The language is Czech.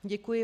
Děkuji.